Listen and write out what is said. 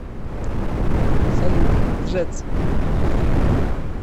салют лжец